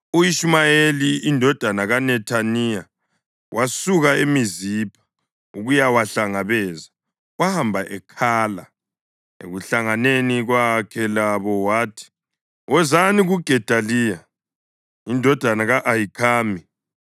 U-Ishumayeli indodana kaNethaniya wasuka eMizipha ukuyawahlangabeza; wahamba ekhala. Ekuhlanganeni kwakhe labo wathi, “Wozani kuGedaliya indodana ka-Ahikhami.”